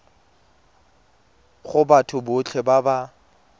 go batho botlhe ba ba